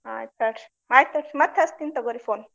ಆಯ್ತ ~ ಆಯ್ತ ಮತ್ತ ಹಚ್ಚತಿನ ತಗೋರಿ phone .